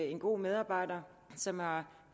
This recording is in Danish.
en god medarbejder som har